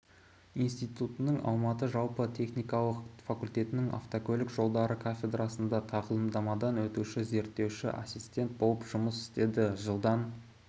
институтының алматы жалпы техникалық факультетінің автокөлік жолдары кафедрасында тағылымдамадан өтуші-зерттеуші ассистент болып жұмыс істеді жылдан